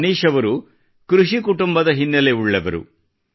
ಮನೀಷ್ ಅವರು ಕೃಷಿ ಕುಟುಂಬದ ಹಿನ್ನೆಲೆಯುಳ್ಳವರು